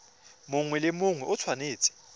mongwe le mongwe o tshwanetse